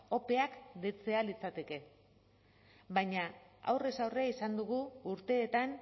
opeak deitzea litzateke baima aurrez aurre izan dugu urteetan